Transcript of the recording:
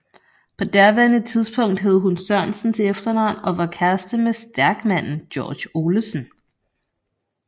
På daværende tidspunkt hed hun Sørensen til efternavn og var kæreste med stærkmanden George Olesen